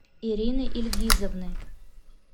ирины ильгизовны